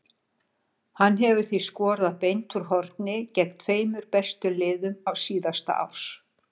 Hann hefur því skorað beint úr horni gegn tveimur bestu liðum síðasta árs.